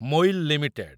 Moily limited